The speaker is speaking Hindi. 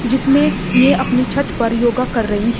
इसमें ये अपनी छत पर योग कर रही हैं।